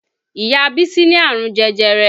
Ìyá bísí ní àrùn jẹjẹrẹ